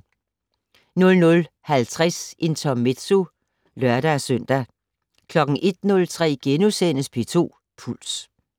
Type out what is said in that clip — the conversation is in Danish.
00:50: Intermezzo (lør-søn) 01:03: P2 Puls *